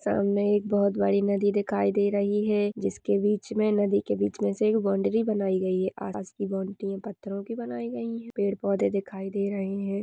सामने एक बहुत बड़ी नदी दिखाई दे रही है जिसके बीच में नदी के बीच में से एक बाउंड्री बनाई गयी है पास की बाउंड्री है पत्थरो की बनाई गयी है पेड़ पौधे दिखाई दे रहे है।